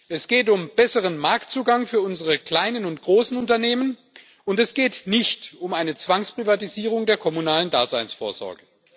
Es geht um besseren Marktzugang für unsere kleinen und großen Unternehmen und es geht nicht um eine Zwangsprivatisierung der kommunalen Daseinsvorsorge.